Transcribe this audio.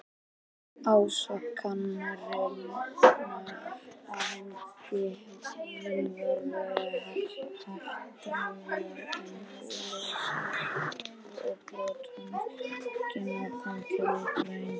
Ásakanirnar á hendur honum voru hatrammar en óljósar og brot hans ekki nákvæmlega tilgreind.